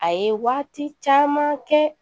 A ye waati caman kɛ